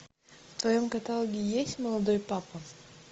в твоем каталоге есть молодой папа